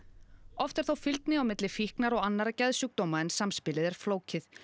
oft er þó fylgni á milli fíknar og annarra geðsjúkdóma en samspilið er flókið